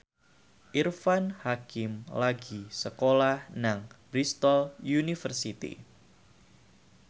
Irfan Hakim lagi sekolah nang Bristol university